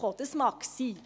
das mag sein.